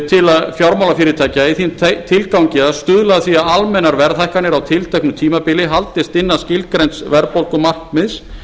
til fjármálafyrirtækja í þeim tilgangi að stuðla að því að almennar verðhækkanir á tilteknu tímabili haldist innan skilgreinds verðbólgumarkmiðs